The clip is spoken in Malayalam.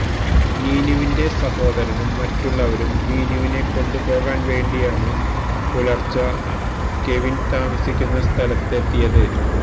നീനുവിന്റെ സഹോദരനും മറ്റുള്ളവരും നീനുവിനെ കൊണ്ട് പോകാൻ വേണ്ടിയാണു പുലർച്ചെ കെവിൻ താമസിക്കുന്ന സ്ഥലത്ത് എത്തിയത്